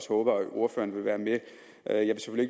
håber at ordføreren vil være med